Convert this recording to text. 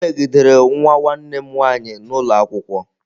E megidere nwa nwanne m nwaanyị n'ụlọ akwụkwọ.